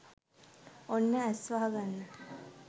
ඔන්න ඇස් වහගන්න